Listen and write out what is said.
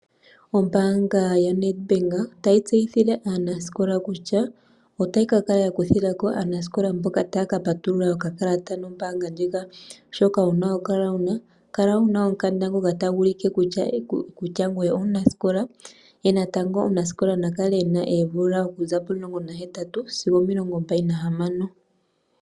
Ombaanga ya NedBank otayi tseyithile aanasikola kutya otayi ka kala ya kuthila ko aanasikola mboka taya ka patulula okakalata nombaanga ndjika. Shoka wuna okukala wuna, kala wuna omukanda ngoka tagu ulike kutya ngoye omunasikola, ye natango omunasikola na kale ena oomvula okuza pomulongo nahetatu sigo omilongo mbali nahamano.